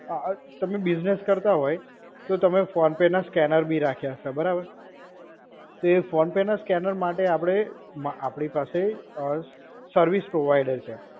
અ તમે બિઝનેસ કરતા હોય, તો તમે ફોન પે ના સ્કેનર બી રાખ્યા હશે, બરાબર? તો એ ફોન પે ના સ્કેનર માટે આપડે માં આપડી પાસે અ સર્વિસ પ્રોવાઇડર છે.